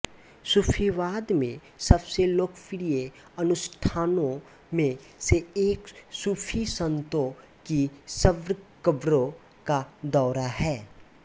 सूफीवाद में सबसे लोकप्रिय अनुष्ठानों में से एक सूफी संतों की कब्रकब्रों का दौरा है